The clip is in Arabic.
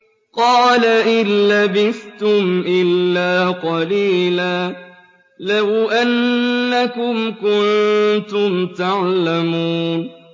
قَالَ إِن لَّبِثْتُمْ إِلَّا قَلِيلًا ۖ لَّوْ أَنَّكُمْ كُنتُمْ تَعْلَمُونَ